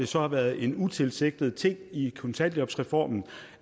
så været en utilsigtet ting i kontanthjælpsreformen